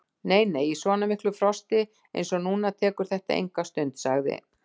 Nei, nei, í svona miklu frosti eins og núna tekur þetta enga stund sagði